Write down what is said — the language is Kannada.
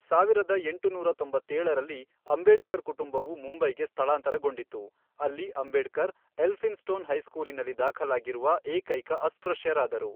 ಸಾವಿರದ ಎಂಟುನೂರ ತೊಂಬತ್ತೇಳರಲ್ಲಿ, ಅಂಬೇಡ್ಕರ್ ಕುಟುಂಬವು ಮುಂಬೈಗೆ ಸ್ಥಳಾಂತರಗೊಂಡಿತು, ಅಲ್ಲಿ ಅಂಬೇಡ್ಕರ್ ಎಲ್ಫಿನ್ಸ್ಟೋನ್ ಹೈಸ್ಕೂಲಿನಲ್ಲಿ ದಾಖಲಾಗಿರುವ ಏಕೈಕ ಅಸ್ಪೃಶ್ಯರಾದರು.